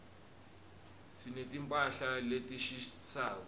sineti mphahla letishisako